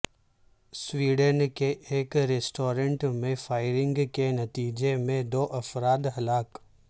Sweden کے ایک restaurant میں فائرنگ کے نتیجے میں دو افراد ہلاک